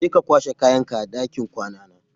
Je ka kwashe kayanka daga ɗakin kwana na.